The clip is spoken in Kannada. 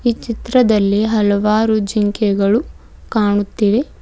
ಈ ಚಿತ್ರದಲ್ಲಿ ಹಲವಾರು ಜಿಂಕೆಗಳು ಕಾಣುತ್ತಿವೆ.